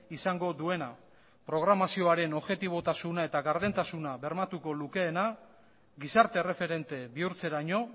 izango duena programazioaren objetibotasuna eta gardentasuna bermatuko lukeena gizarte erreferente bihurtzeraino